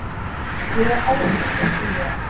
Ég er ágæt eins og ég er.